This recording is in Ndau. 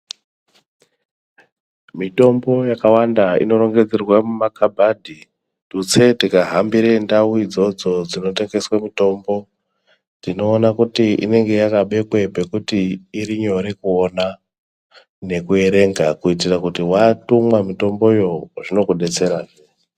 Mitombo yakawanda inorongedzerwa mumakhabhadhi tutse tikahambire ndau idzodzo dzinotengesa mitombo tinoona kuti inenge yakabekwa pekuti irinyore kuona nekuerenga kuitire kuti watumwa mitomboyo zvinokudetsera.